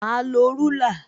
Mà á lo rúlà